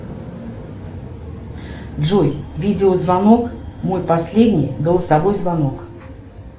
джой видеозвонок мой последний голосовой звонок